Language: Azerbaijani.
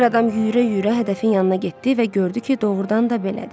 Bir adam yüyürə-yüyürə hədəfin yanına getdi və gördü ki, doğurdan da belədir.